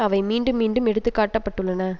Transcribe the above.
அவை மீண்டும் மீண்டும் எடுத்துக்காட்டப்பட்டுள்ளன